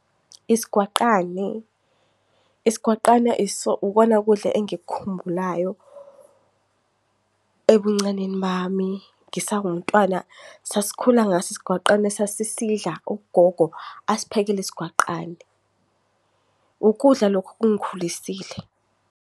Isigwaqane. Isigwaqane ikona ukudla engikukhumbulayo ebuncaneni bami. Ngisawumntwana sasikhula ngaso isigwaqane sasidla, ugogo asiphekele isigwaqane. Ukudla lokhu okungikhulisile.